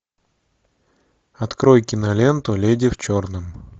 открой киноленту леди в черном